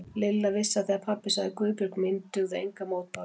Lilla vissi að þegar pabbi sagði Guðbjörg mín dugðu engar mótbárur.